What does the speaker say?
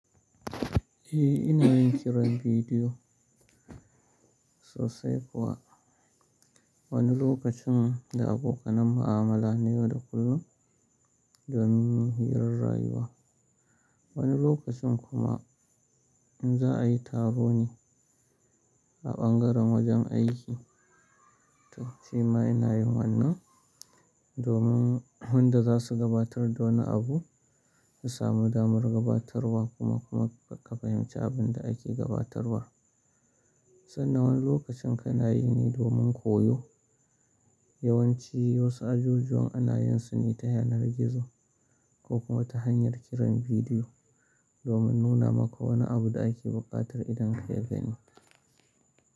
Eh, ina yin kiran bidiyo sosai kuwa. Wani lokacin da abokanan mu'amala na yau da kullum domin hirar rayuwa. Wani lokacin kuma in za a yi taro ne a ɓangaren wajen aiki. To, shima ina yin wannan domin wadanda za su gabatar da wani abu su samu damar gabatarwa kuma, kuma ka fahimci abin da ake gabatarwa. Sannan wani lokacin kanayi ne domin koyo. Yawan ci wasu ajujuwan ana yin su ne ta yanar gizo ko kuma ta hanyar kiran bidiyo domin nuna maka wani abu da ake buƙatar idon ka ya gani.